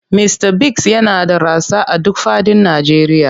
Mista Biggs yana da rassa a duk fadin Najeriya.